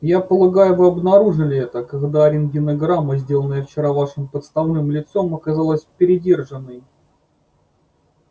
я полагаю вы обнаружили это когда рентгенограмма сделанная вчера вашим подставным лицом оказалась передержанной